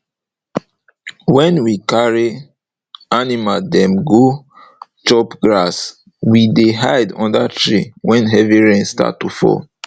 wen we carry animal dem go chop grass we dey hide under tree wen heavy rain start to fall